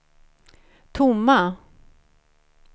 tomma